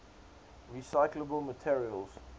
recyclable materials